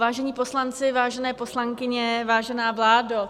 Vážení poslanci, vážené poslankyně, vážená vládo...